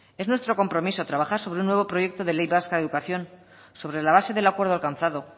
es nuestro compromiso trabajar sobre un nuevo proyecto de ley vasco de educación sobre la base del acuerdo alcanzado